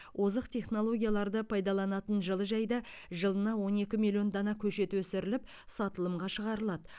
озық технологияларды пайдаланатын жылыжайда жылына он екі миллион дана көшет өсіріліп сатылымға шығарылады